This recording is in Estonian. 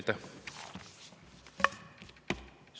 Aitäh!